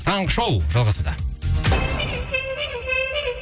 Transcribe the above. таңғы шоу жалғасуда